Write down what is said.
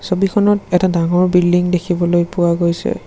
ছবিখনত এটা ডাঙৰ বিল্ডিং দেখিবলৈ পোৱা গৈছে।